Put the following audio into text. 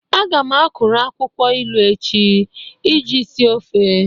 Aga m akuru akwụkwọ ilu echi iji sie ofe.